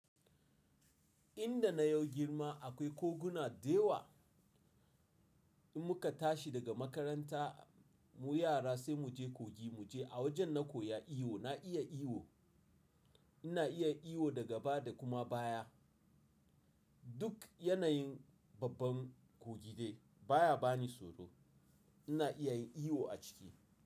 Inda na yau girma akwai koguna da yawa. In muka tashi daga makaranta mu yara sai mu je kogi mu je a wajen na koya iyo, na iya iyo. Ina iya iyo daga baya da kuma baya. Duk yanayin babban kogide baya bani tsoro. Ina iya yin iyo a ciki.